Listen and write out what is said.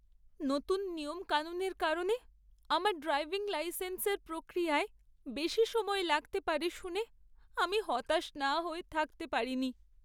নতুন নিয়মকানুনের কারণে আমার ড্রাইভিং লাইসেন্সের প্রক্রিয়ায় বেশি সময় লাগতে পারে শুনে আমি হতাশ না হয়ে থাকতে পারিনি।